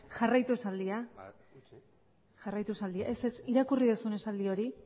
ez ez irakurri duzun esaldi hori